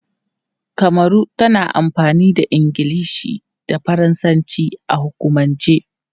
Kamaru tana amfani da Ingilishi da Faransanci a hukumance.